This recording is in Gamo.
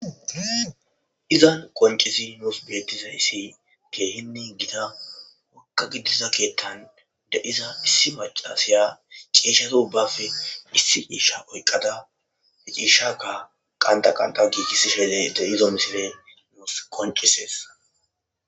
izan qoncishshe nuus beettizayssi keehinne gitta wokka giddiza keettan de'iza issi maacassiya ciishshata ubbappe issi ciishsha oyqqadda he ciishshakka qanta qantan gigisiishshe de'izo misiley nuus qoncisesees